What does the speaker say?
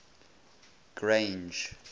grange